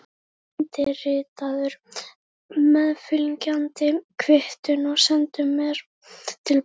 Undirritaðu meðfylgjandi kvittun og sendu mér til baka.